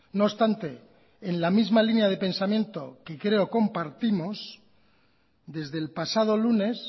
no obstante en la misma línea de pensamiento que creo compartimos desde el pasado lunes